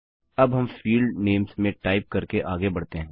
अब हम field names में टाइप करके आगे बढ़ते हैं